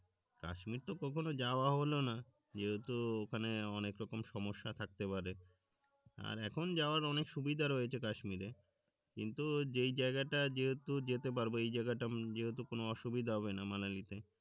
কাশ্মির তো কখনো যাওয়া হলো না যেহেতু ওখানে অনেক রকম সমস্যা থাকতে পারে আর এখন যাওয়ার অনেক সুবিধা রয়েছে কাশ্মিরে কিন্তু যেই জায়গাটা যেহেতু যেতে পারবো এই জায়গাটা যেহেতু কোন অসুবিধা হবে না মানিয়ে নিতে